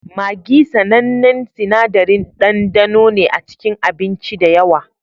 Maggi, sanannen sinadarin ɗandano ne a cikin abinci da yawa